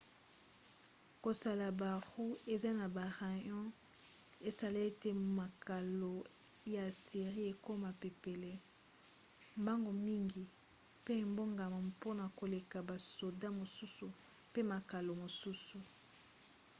kosala baroues eza na barayons esala ete makalo ya assyrie ekoma pepele mbango mingi mpe ebongama mpona koleka basoda mosusu mpe makalo mosusu